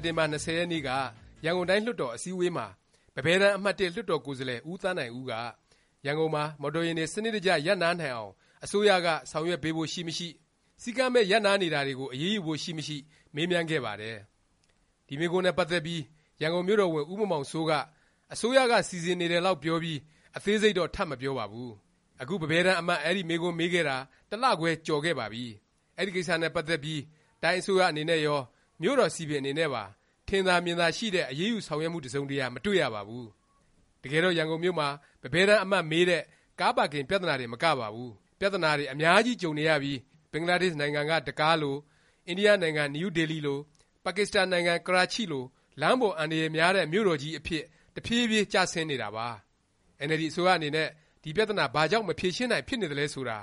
်တင်ဘာ ၂၀ ရက်နေ့က ရန်ကုန်တိုင်း လွှတ်တော် အစည်းအဝေးမှာ ပန်းပဲတန်း အမှတ် လွှတ်တော်ကိုယ်စားလှယ် ဦးသန်းနိုင်ဦးက ရန်ကုန်မှာ မော်တော်ယာဉ်တွေ စနစ်တကျ ရပ်နားနိုင်အောင် အစိုးရက ဆောင်ရွက်ပေးဖို့ ရှိမရှိ၊ စည်းကမ်းမဲ့ ရပ်နားနေတာတွေကို အရေးယူဖို့ ရှိမရှိ မေးမြန်းခဲ့ပါတယ်။ ဒီမေးခွန်းနဲ့ ပတ်သက်ပြီး ရန်ကုန်မြို့တော်ဝန် ဦးမောင်မောင်စိုးက အစိုးရက စီစဉ်နေတယ်လောက် ပြောပြီး အသေးစိတ်တော့ ထပ်မပြောပါဘူး။ အခု ပန်းပဲတန်း အမတ် အဲဒီ မေးခွန်းမေးခဲ့တာ တစ်လခွဲ ကျော်ခဲ့ပါပြီ။ အဲဒီကိစ္စနဲ့ ပတ်သက်ပြီး တိုင်းအစိုးရ အနေနဲ့ရော၊ မြို့တော် စည်ပင်အနေနဲ့ပါ ထင်သာမြင်သာရှိတဲ့ အရေးယူ ဆောင်ရွက်မှု တစ်စုံတစ်ရာ မတွေ့ရပါဘူး။ တကယ်တော့ ရန်ကုန်မြို့မှာ ပန်းပဲတန်း အမတ် မေးတဲ့ ကားပါကင် ပြသနာတင်မကပါဘူး။ ပြသနာတွေ အများကြီးကြုံနေရပြီး အိမ်နီးချင်း ဘင်္ဂလားဒေ့ရှ်နိုင်ငံ ဒက္ကားလို၊ အိန္ဒိယနိုင်ငံ နယူးဒေလီလို၊ ပါကစ္စတန်နိုင်ငံ ကရာချိလို လမ်းပေါ် အန္တရာယ်များတဲ့ မြို့တော်ကြီး အဖြစ် တဖြေးဖြေး ကျဆင်းနေတာပါ။ အင်န်အယ်လ်ဒီ အစိုးရအနေနဲ့ ဒီပြသနာ ဘာကြောင့် မဖြေရှင်းနိုင် ဖြစ်နေသလဲ ဆိုတာ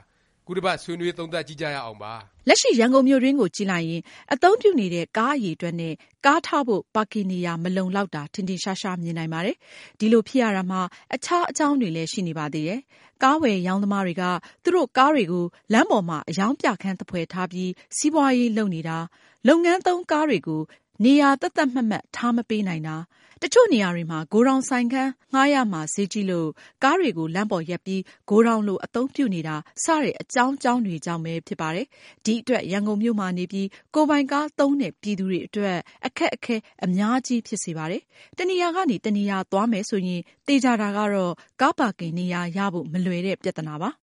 ခုတစ်ပတ် ဆွေးနွေး သုံးသပ်ကြည့်ကြရအောင်ပါ။ လက်ရှိ ရန်ကုန်မြို့တွင်းကိုကြည့်လိုက်ရင် အသုံးပြုနေတဲ့ ကားအရည်အတွက်နဲ့ ကားထားဖို့ ပါကင်နေရာ မလုံလောက်တာ ထင်ထင်ရှားရှား မြင်နိုင်ပါတယ်။ ဒီလိုဖြစ်ရတာမှာ အခြား အကြောင်းတွေလည်း ရှိနေပါသေးတယ်။ ကားဝယ်ရောင်းသမားတွေက သူတို့ ကားတွေကို လမ်းပေါ်မှာ အရောင်းပြခန်းသဖွယ် ထားပြီး စီးပွားရေး လုပ်နေတာ၊ လုပ်ငန်းသုံးကားတွေကို နေရာ သတ်သတ်မှတ်မှတ် ထားမပေးနိုင်တာ၊ တစ်ချို့နေရာတွေမှာ ဂိုဒေါင်ဆိုင်ခန်းငှားရမှာ ဈေးကြီးလို့ ကားတွေကို လမ်းပေါ်ရပ်ပြီး ဂိုဒေါင်လို အသုံးပြုနေတာ စတဲ့ စတဲ့ အကြောင်းကြောင်းတွေကြောင့်ပဲ ဖြစ်ပါတယ်။ ဒီအတွက် ရန်ကုန်မြို့မှာနေပြီး ကိုယ်ပိုင်ကား သုံးတဲ့ ပြည်သူတွေ အတွက် အခက်အခဲ အများကြီး ဖြစ်စေပါတယ်။ တစ်နေရာကနေ တစ်နေရာ သွားမယ် ဆိုရင် သေခြာတာကတော့ ကားပါကင် နေရာ ရဖို့ မလွယ်တဲ့ ပြသနာပါ။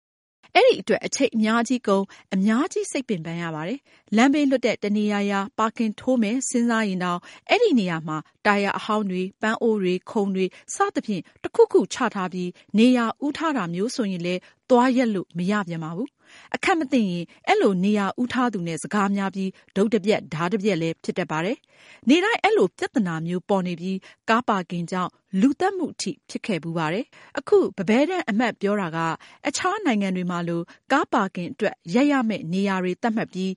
အဲဒီအတွက် အချိန်အများကြီးကုန်၊ အများကြီး စိတ်ပင်ပန်းရပါတယ်။ လမ်းဘေး လွတ်တဲ့ တစ်နေရာရာ ပါကင်ထိုးမယ် စဉ်းစားရင်တောင် အဲဒီနေရာမှာ တာယာအဟောင်းတွေ၊ ပန်းအိုးတွေ၊ ခုံတွေ စသဖြင့် တစ်ခုခု ချထားပြီး နေရာဦးထားတာမျိုး ဆိုရင်လည်း သွားရပ်လို့ မရပြန်ပါဘူး။ အခန့်မသင့်ရင် အဲလို နေရာဦးထားသူနဲ့ စကားများပြီး တုတ်တပြက် ဓားတပျက်လည်း ဖြစ်တတ်ပါတယ်။ နေ့တိုင်း အဲလို ပြသနာမျိုးပေါ်နေပြီး ကားပါကင်ကြောင့် လူသတ်မှု အထိ ဖြစ်ခဲ့ဖူးပါတယ်။ အခု ပန်းပဲတန်း အမတ်ပြောတာက အခြားနိုင်ငံတွေမှာလို ကားပါကင်အတွက် ရပ်ရမယ့် နေရာတွေသတ်မှတ်ပြီး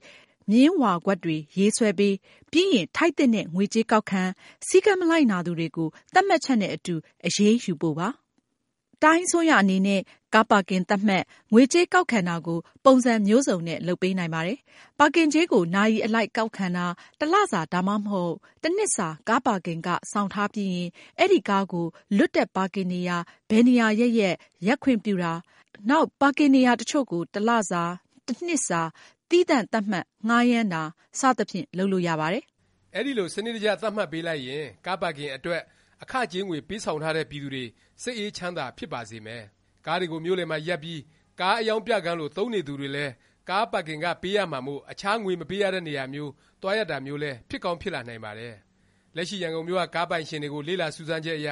မျဉ်းဝါကွက်တွေ ရေးဆွဲပေး၊ ပြီးရင် ထိုက်သင့်တဲ့ ငွေကြေးကောက်ခံ၊ စည်းကမ်း မလိုက်နာသူတွေကို သတ်မှတ်ချက်နဲ့ အတူ အရေးယူပေးဖို့ပါ။ တိုင်းအစိုးရ အနေနဲ့ ကားပါကင် သတ်မှတ် ငွေကြေးကောက်ခံတာကို ပုံစံ မျိုးစုံနဲ့ လုပ်ပေးနိုင်ပါတယ်။ ပါကင်ကြေးကို နာရီအလိုက် ကောက်ခံတာ၊ တစ်လစာ ဒါမှမဟုတ် တစ်နှစ်စာ ကားပါကင်ခ ဆောင်ထားပြီးရင် အဲဒီကားကို လွတ်တဲ့ပါကင်နေရာ ဘယ်နေရာရပ်ရပ် ရပ်ခွင့်ပြုတာ၊ နောက် ပါကင်နေရာ တစ်ချို့ကို တစ်လစာ၊ တစ်နှစ်စာ သီးသန့် သတ်မှတ် ငှားရမ်းတာ စသဖြင့် လုပ်လို့ရပါတယ်။ အဲဒီလို စနစ်တကျ သတ်မှတ်ပေးလိုက်ရင် ကားပါကင်အတွက် အခကြေးငွေ ပေးဆောင်ထားတဲ့ ပြည်သူတွေ စိတ်အေးချမ်းသာ ဖြစ်ပါစေမယ်။ ကားတွေကို မြို့လည်မှာ ရပ်ပြီး ကားအရောင်းပြခန်းလို သုံးနေသူတွေလည်း ပါကင်ခ ပေးရမှာမို့ အခြား ငွေမပေးရတဲ့နေရာမျိုး သွားရပ်တာမျိုးလည်း ဖြစ်ကောင်း ဖြစ်လာနိုင်ပါတယ်။ လက်ရှိ ရန်ကုန်မြို့က ကားပိုင်ရှင်တွေကို လေ့လာစူးစမ်းချက်အရ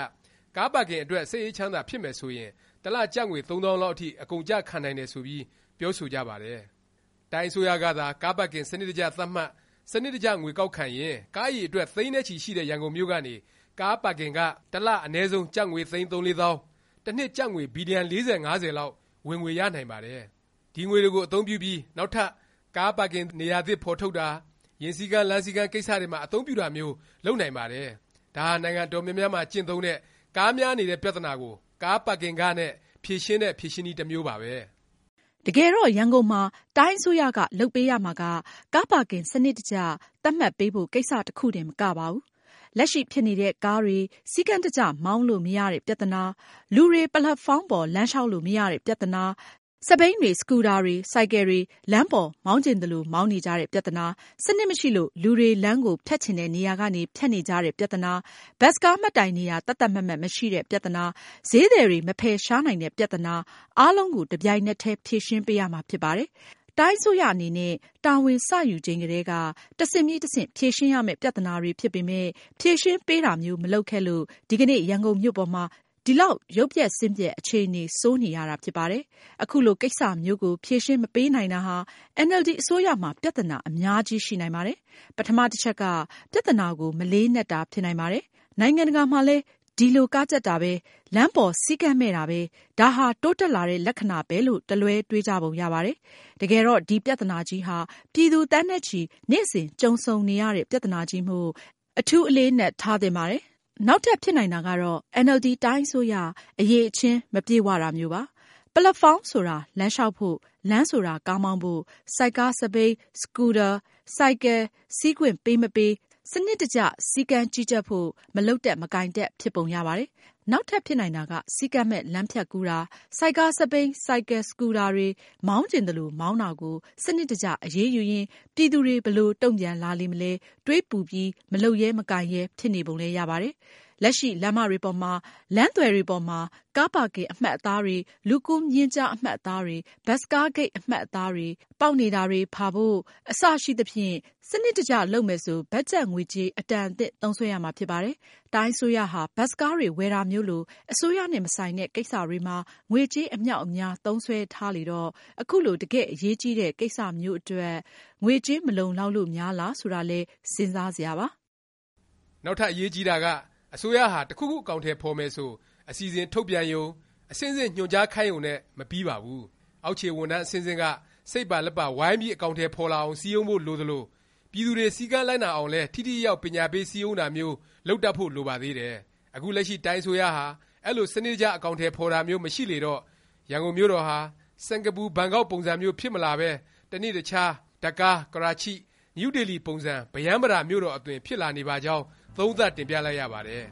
ကားပါကင်အတွက် စိတ်အေးချမ်းသာ ဖြစ်မယ် ဆိုရင် တစ်လ ကျပ်ငွေ သုံးသောင်းလောက်အထိ အကုန်အကျ ခံနိုင်တယ် ဆိုပြီး ပြောဆိုကြပါတယ်။ တိုင်းအစိုးရကသာ ကားပါကင် စနစ်တကျ သတ်မှတ် စနစ်တကျ ငွေကောက်ခံရင် ကားအရည်အတွက် သိန်းနဲ့ချီ ရှိတဲ့ ရန်ကုန်မြို့ကနေ ကားပါကင်ခ တစ်လ အနည်းဆုံး ကျပ်ငွေ သိန်း ၃-၄ သောင်း၊ တစ်နှစ် ကျပ်ငွေ ဘီလျံ ၄၀-၅၀ လောက် ဝင်ငွေရနိုင်ပါတယ်။ ဒီငွေတွေကို အသုံးပြုပြီး နောက်ထပ် ကားပါကင်နေရာသစ် ဖော်ထုတ်တာ၊ ယာဉ်စည်းကမ်း လမ်းစည်းကမ်း ကိစ္စတွေမှာ အသုံးပြုတာမျိုး လုပ်နိုင်ပါတယ်။ ဒါဟာ နိုင်ငံအတော်များများမှာ ကျင့်သုံးတဲ့ ကားများနေတဲ့ ပြသနာကို ကားပါကင်ခ နဲ့ ဖြေရှင်းတဲ့ ဖြေရှင်းနည်း တစ်မျိုးပါပဲ။ တကယ်တော့ ရန်ကုန်မှာ တိုင်းအစိုးရက လုပ်ပေးရမှာက ကားပါကင် စနစ်တကျ သတ်မှတ်ပေးဖို့ ကိစ္စ တစ်ခုတင် မကပါဘူး။ လက်ရှိ ဖြစ်နေတဲ့ ကားတွေ စည်းကမ်းတကျ မောင်းလို့ မရတဲ့ ပြသနာ၊ လူတွေ ပက်လက်ဖေါင်းပေါ် လမ်းလျောက်လို့ မရတဲ့ပြသနာ၊ ဆိုက်ကားတွေ၊ စက်ဘီးတွေ၊ စကူဒါတွေ၊ ဆိုင်ကယ်တွေ လမ်းပေါ် မောင်းချင်သလို မောင်းနေကြတဲ့ပြသနာ၊ စနစ်မရှိလို့ လူတွေ လမ်းကို ဖြတ်ချင်တဲ့နေရာကနေ ဖြတ်နေကြတဲ့ပြသနာ၊ ဘတ်စ်ကား မှတ်တိုင်နေရာ သတ်သတ်မှတ်မှတ် မရှိတဲ့ပြသနာ၊ ဈေးသည်တွေ မဖယ်ရှားနိုင်တဲ့ ပြသနာ အားလုံးကို တစ်ပြိုင်နက်တည်း ဖြေရှင်းပေးရမှာ ဖြစ်ပါတယ်။ တိုင်းအစိုးရအနေနဲ့ တာဝန်စ ယူချိန်ကတည်းက တစ်ဆင့်ပြီး တစ်ဆင့် ဖြေရှင်းရမယ့် ပြသနာတွေ ဖြစ်ပေမယ့် ဖြေရှင်းပေးတာမျိုး မလုပ်ခဲ့လို့ ဒီကနေ့ ရန်ကုန်မြို့ပေါ်မှာ ဒီလောက် ရုပ်ပျက်ဆင်းပျက် အခြေအနေ ဆိုးနေရတာ ဖြစ်ပါတယ်။ အခုလို ကိစ္စမျိုးကို ဖြေရှင်းမပေးနိုင်တာဟာ အင်န်အယ်လ်ဒီ အစိုးရမှာ ပြသနာ အများကြီး ရှိနိုင်ပါတယ်။ ပထမ တစ်ချက်က ပြသနာကို မလေးနက်တာ ဖြစ်နိုင်ပါတယ်။ နိုင်ငံတကာမှာလည်း ဒီလို ကားကြပ်တာပဲ၊ လမ်းပေါ် စည်းကမ်းမဲ့တာပဲ ဒါဟာ တိုးတက်လာတဲ့ လက္ခဏာပဲလို့ တစ်လွဲ တွေးကြပုံရပါတယ်။ တကယ်တော့ ဒီ ပြသနာကြီးဟာ ပြည်သူ သန်းနဲ့ချီ နေ့စဉ် ကြုံဆုံနေရတဲ့ ပြသနာကြီးမို့ အထူးလေးနက်သင့်ပါတယ်။ နောက်ထပ် ဖြစ်နိုင်တာကတော့ အင်န်အယ်လ်ဒီ တိုင်းအစိုးရ အရည်အချင်း မပြည့်ဝတာမျိုးပါ။ ပက်လက်ဖေါင်းဆိုတာ လမ်းလျောက်ဖို့၊ လမ်းဆိုတာ ကားမောင်းဖို့၊ ဆိုက်ကား၊ စက်ဘီး၊ စကူဒါ၊ ဆိုင်ကယ် စီးခွင့်ပေးမပေး စနစ်တကျ စီစဉ်ဖို့၊ စနစ်တကျ စည်းကမ်း ကြီးကြပ်ဖို့ မလုပ်တတ် မကိုင်တတ် ဖြစ်ပုံရပါတယ်။ နောက်ထပ် ဖြစ်နိုင်တာက စည်းကမ်းမဲ့ လမ်းဖြတ်ကူးတာ၊ ဆိုက်ကား၊ စက်ဘီး၊ ဆိုင်ကယ်၊ စကူဒါတွေ မောင်းချင်သလို မောင်းတာကို စနစ်တကျ အရေးယူရင် ပြည်သူတွေ ဘယ်လို တုန့်ပြန်လာလေမလဲ၊ တွေးပူပြီး မလုပ်ရဲ မကိုင်ရဲ ဖြစ်နေပုံလည်း ရပါတယ်။ လက်ရှိ လမ်းမတွေပေါ်မှာ လမ်းသွယ်တွေပေါ်မှာ ကားပါကင် အမှတ်အသားတွေ၊ လူကူးမျဉ်းကျား အမှတ်အသားတွေ၊ ဘတ်စ်ကားဂိတ် အမှတ်အသားတွေ၊ ပေါက်နေတာ ဖါဖို့တွေ အစရှိသဖြင့် စနစ်တကျ လုပ်မယ်ဆို ဘတ်ဂျက်ငွေကြေး အတန်အသင့် သုံးစွဲရမှာ ဖြစ်ပါတယ်။ တိုင်းအစိုးရဟာ ဘတ်စ်ကားတွေ ဝယ်တာမျိုးလို အစိုးရနဲ့ မဆိုင်တဲ့ ကိစ္စတွေမှာ ငွေကြေး အမြောက်အများ သုံးစွဲထားလေတော့ အခုလို တကယ့် အရေးကြီးတဲ့ ကိစ္စမျိုးအတွက် ငွေကြေး မလုံလောက်လို့များလား ဆိုတာလည်း စဉ်းစားစရာပါ။ နောက်ထပ် အရေးကြီးတာက အစိုးရဟာ တစ်ခုခုအကောင်အထည် ဖော်မယ်ဆို အစီအစဉ် ထုတ်ပြန်ရုံ၊ အဆင့်ဆင့် ညွှန်ကြားခိုင်းရုံနဲ့ မပြီးပါဘူး။ အောက်ခြေ ဝန်ထမ်း အဆင့်ဆင့်က စိတ်ပါလက်ပါ ဝိုင်းပြီး အကောင်အထည် ဖော်လာအောင် စည်းရုံးဖို့ လိုသလို၊ ပြည်သူတွေ စည်းကမ်းလိုက်နာအောင်လည်း ထိထိရောက်ရောက် ပညာပေး စည်းရုံးတာမျိုး လုပ်တတ်ဖို့ လိုပါသေးတယ်။ အခုလက်ရှိ တိုင်းအစိုးရဟာ အဲလို စနစ်တကျ အကောင်အထည် ဖော်တာမျိုး မရှိလေတော့ ရန်ကုန်မြို့တော်ဟာ စင်္ကာပူ၊ ဘန်ကောက် ပုံစံမျိုး ဖြစ်မလာပဲ တစ်နေ့တခြား ဒက္ကား၊ ကရာချိ၊ နယူးဒေလီ ပုံစံ ဗရမ်းဗတာ မြို့တော်အသွင် ဖြစ်လာနေပါကြောင်း သုံးသပ်တင်ပြလိုက်ရပါတယ်